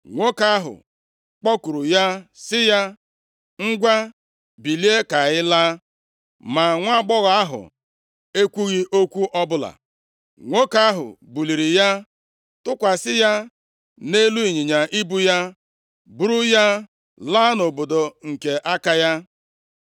Nwoke ahụ kpọkuru ya sị ya, “Ngwa, bilie ka anyị laa.” Ma nwaagbọghọ ahụ ekwughị okwu ọbụla. Nwoke ahụ buliri ya, tụkwasị ya nʼelu ịnyịnya ibu ya, buru ya laa nʼobodo nke aka ya.